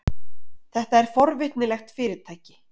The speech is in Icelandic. Þetta er forvitnilegt fyrirtæki.